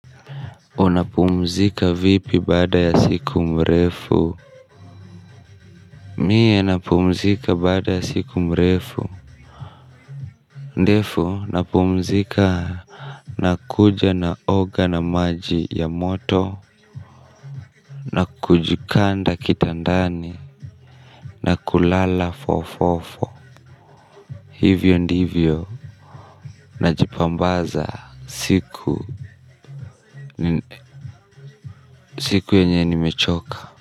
Unapumzika vipi bada ya siku mrefu mie napumzika bada ya siku mrefu ndefu napumzika nakuja na oga na maji ya moto na kujikanda kitandani na kulala fo fo fo hivyo ndivyo najipambaza siku siku yenye nimechoka.